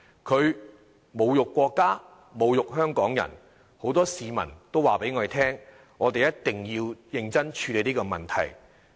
他侮辱國家，侮辱香港人，很多市民向我們表示，我們一定要認真處理這個問題。